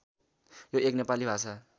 यो एक नेपाली भाषा